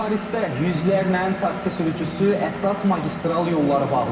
Parisdə yüzlərlə taksi sürücüsü əsas magistral yolları bağlayıb.